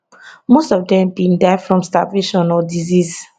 most of dem bin die from starvation or disease